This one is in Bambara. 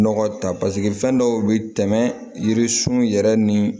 Nɔgɔ ta fɛn dɔw bɛ tɛmɛ yiririsun yɛrɛ ni